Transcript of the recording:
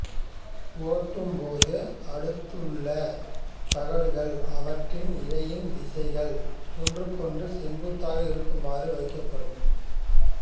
ஒட்டும்போது அடுத்தடுத்துள்ள தகடுகள் அவற்றின் இழையின் திசைகள் ஒன்றுக்கொன்று செங்குத்தாக இருக்குமாறு வைக்கப்படும்